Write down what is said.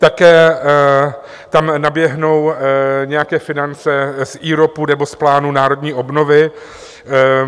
Také tam naběhnou nějaké finance z IROPu nebo z plánu národní obnovy.